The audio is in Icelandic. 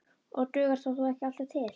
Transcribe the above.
Og dugar það þó ekki alltaf til.